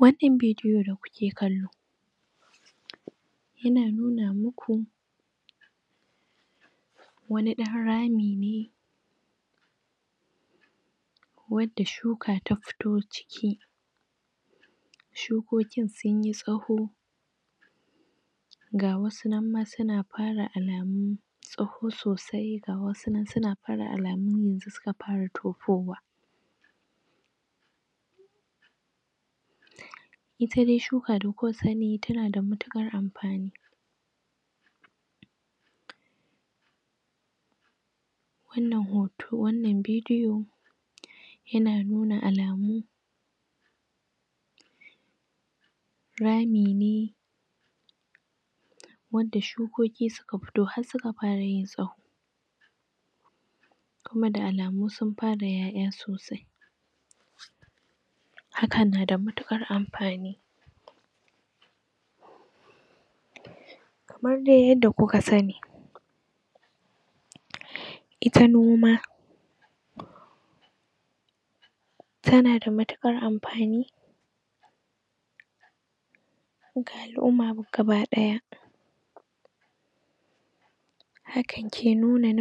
wannan bidiyo da kuke kallo yana nuna muku wani ɗan rami ne wacce shuka ta fito ciki shukokin sunyi tsawo ga wasu nan ma suna fara alamu tsawo sosai ga wasu nan alamun yanzu suka fara tofowa ita dai shuka da kuka sani tana da matukar amfani wannnan hoto wannnan bidiyo yana nuna alamu rami ne wanda shukoki suka fito har suka fara yin tsawo kuma da alamu sun fara yaya sosi hakan nada matukar amfani kamar dai yadda kuka sani ita noma tana da matukar amfani ga al'umma gaba daya hakan ke nufin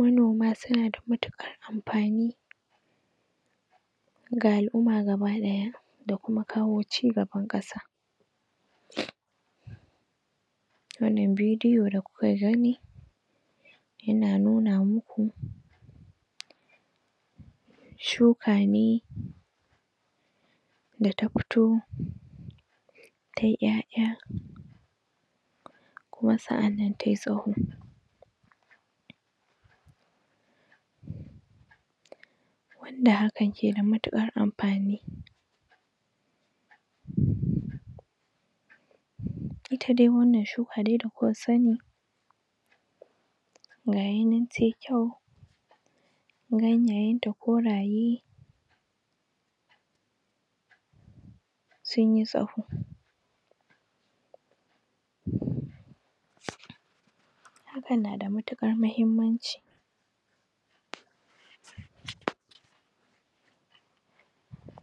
manoma suna da matukar amfani ga alumma gaba daya da kawo ci gaban kasa wannnan bidiyo da kuka gani yana nuna muku shuka ne da ta fito tayi yaya kuma sa'annan tayi tsawo wanda hakan ke da matukar amfani? ita dai wannnan shuka dai da kuka sani gayi nan tayi kyau ganyayen ta koraye sunyi tsawo hakan nada matukar muhimmanci